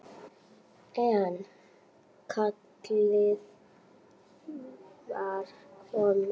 En kallið var komið.